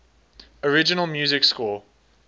original music score